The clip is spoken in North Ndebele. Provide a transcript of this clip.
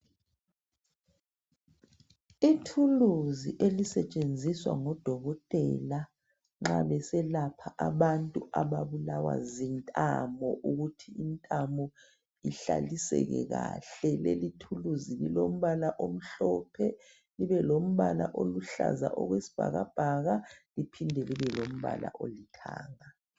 Ithuluzi elisetshenziswa ngudokotela nxa beselapha abantu ababulawa zintamo ukuthi intamo ihlaliseke kahle. Leli thuluzi lilombala omhlophe libe lombala oluhlaza okwesibhakabhaka liphinde libe lombala olithanga.